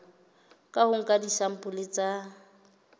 ka ho nka disampole tsa